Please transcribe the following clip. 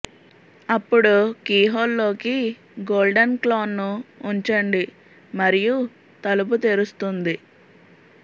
అప్పుడు కీహోల్ లోకి గోల్డెన్ క్లాన్ను ఉంచండి మరియు తలుపు తెరుస్తుంది